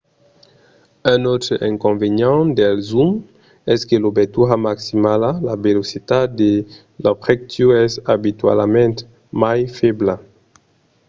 un autre inconvenient dels zooms es que l'obertura maximala la velocitat de l'objectiu es abitualament mai febla